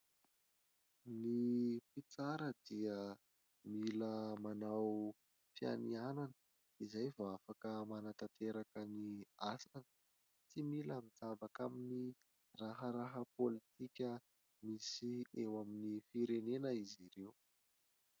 Ny tsara dia mila manao fianihanana, izay vao afaka manatanteraka ny asany. Tsy mila mijabaka amin'ny raharaha politika misy eo amin'ny firenena izy ireo.